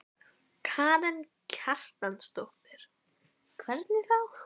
Karen Kjartansdóttir: Hvernig þá?